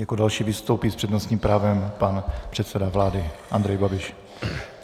Jako další vystoupí s přednostním právem pan předseda vlády Andrej Babiš.